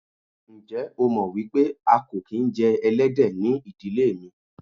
Ǹjẹ́ o mọ̀ wípé a kò kín jẹ Ẹlẹ́dẹ̀ ni ìdílé mi.